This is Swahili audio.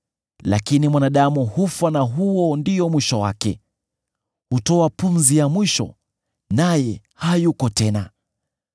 Lakini mwanadamu hufa, na huo ndio mwisho wake; hutoa pumzi ya mwisho, naye hayuko tena!